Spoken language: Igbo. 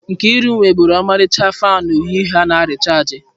Nkeiru nwebulu ọmarịcha fanu uhie uhie a na rịchaajị.